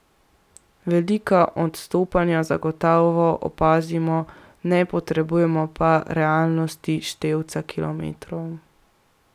Velika odstopanja zagotovo opazimo, ne potrjujemo pa realnosti števca kilometrov.